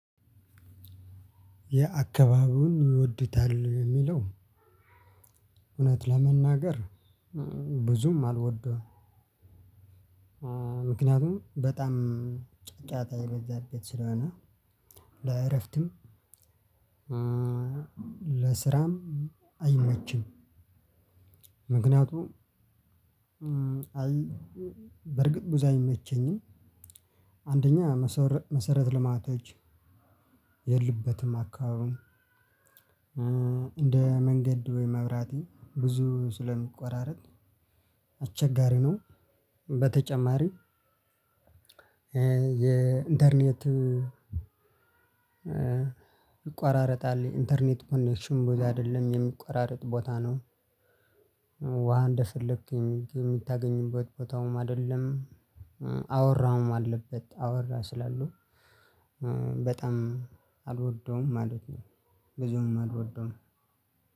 የአካባቢውን ይወድታል የሚለው እውነት ለመናገር ብዙም አልወደውም። ምክንያቱም በጣም ጫጫታ የበዛበት ስለሆነ ለእረፍትም ለስራም አይመችም። ምክንያቱም በርግጥ ብዙ አይመቸኝም። አንደኛ መሰረት ልማቶች የሉበትም አካባቢ። እንደ መንገድ ወይ መብራት ብዙ ስለሚቆራረጥ አቸጋሪ ነው። በተጨማሪ የኢንተርኔት ይቆራረጣል የኢንተርኔት ኮኔክሽን ሙሉ አይደለም የሚቆራርጥ ቦታ ነው። ውሃ እንደፈለኩኝ የምታገኝበት ቦታውም አይደለም። አወራም አለበት አወራ ስላሉ በጣም አልወደውም ማለት ነው። ብዙም አልወደውም።